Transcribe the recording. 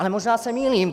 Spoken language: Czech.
Ale možná se mýlím.